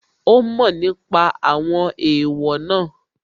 Ó mọ̀ nípa àwọn èèwọ̀ náà